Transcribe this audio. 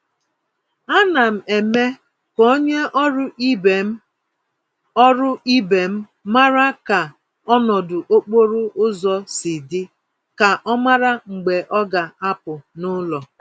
Ánám eme k'onye ọrụ ibe m ọrụ ibe m màrà ka ọnọdụ okporo ụzọ si dị, ka ọ mara mgbe ọ ga-apụ n'ụlọ.